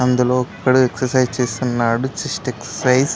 అందులో ఒకడు ఎక్సర్సిస్ చేస్తున్నాడు. Chest exercise .